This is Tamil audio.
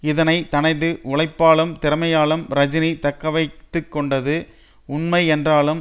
இதனை தனது உழைப்பாலும் திறமையாலும் ரஜினி தக்கவைத்துக்கொண்டது உண்மை என்றாலும்